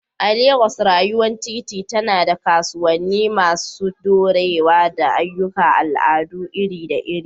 A Legas, rayuwar titi tana da kasuwanni masu ɗorewa da ayyukan al'adu iri-iri.